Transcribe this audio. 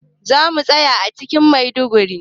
Za mu tsaya a cikin Maiduguri.